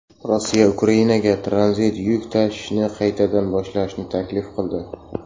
Rossiya Ukrainaga tranzit yuk tashishni qaytadan boshlashni taklif qildi.